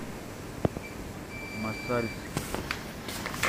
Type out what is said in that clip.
мосальске